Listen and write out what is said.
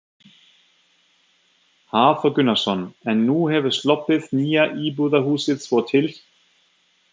Hafþór Gunnarsson: En nú hefur sloppið nýja íbúðarhúsið svo til?